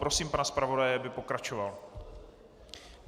Prosím pana zpravodaje, aby pokračoval.